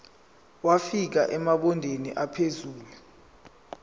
wafika emabangeni aphezulu